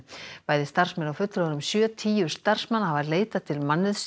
bæði starfsmenn og fulltrúar um sjötíu starfsmanna hafa leitað til